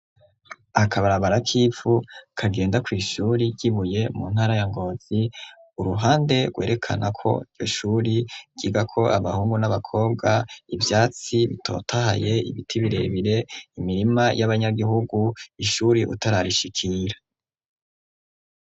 Akabarabara k'ivu kagenda kw'ishure ry'ibuye mu ntara ya Ngonzi uruhande rwerekana ko ishure ryigako abahungu n'abakobwa, ivyatsi bitotahaye ,ibiti birebire ,imirima y'abanyagihugu, ishure utararishikira.